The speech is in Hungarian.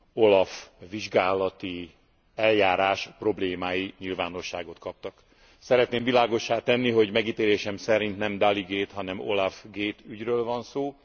OLAF vizsgálati eljárás problémái nyilvánosságot kaptak. Szeretném világossá tenni, hogy megítélésem szerint nem Dalli gate, hanem OLAF gate ügyről van szó.